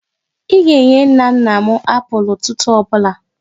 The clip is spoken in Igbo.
Ị ga-enye nna nna m apụl ụtụtụ ọ bụla!